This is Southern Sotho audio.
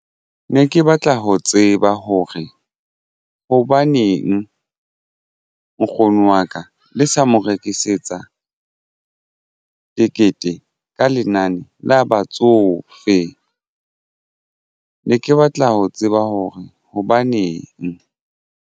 Ne ke batla ho tseba hore hobaneng nkgono wa ka le sa mo rekisetsa tekete ka lenane la batsofe ne ke batla ho tseba hore hobaneng?